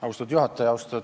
Austatud juhataja!